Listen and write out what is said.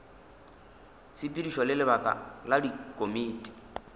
tshepedišo le lebaka la dikomiti